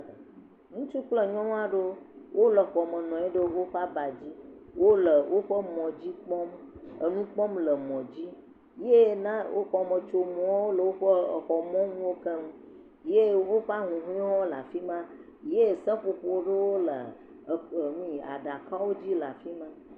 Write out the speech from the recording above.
Ŋutsu kple nyɔnu aɖewo, wole xɔme nɔ anyi ɖe woƒe abawo dzi, wole woƒe mɔ dzi kpɔm, enu kpɔm le mɔ dzi, ye na wo xɔmetsonuwo le woƒe exɔ mɔnuwo keŋ, ye woƒe ahuhɔewo hã le afi ma, ye seƒoƒo ɖewo le e nui aɖakawo dzi le afi ma.